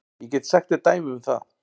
Ég get sagt þér dæmi um það.